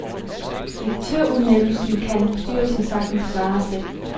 Direktørudnævnelsen kan bestyrelsen sagtens klare selv.